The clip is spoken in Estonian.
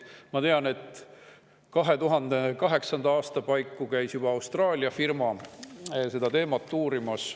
Ma tean, et 2008. aasta paiku juba käis Austraalia firma seda teemat uurimas.